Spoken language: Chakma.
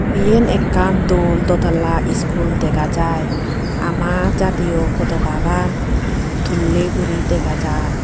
iyen ekkan dol dotala iskul dega jai ama jatiyo potokagan tulley guri dega jai.